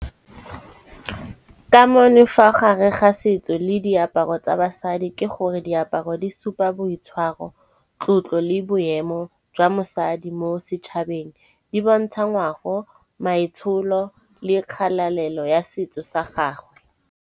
Kamane ka fa gare ga setso le diaparo tsa basadi, ke gore diaparo di supa boitshwaro, tlotlo le boemo jwa mosadi mo setšhabeng. Di bontsha ngwago, maitsholo le kgalalelo ya setso sa gagwe.